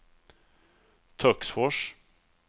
Töcksfors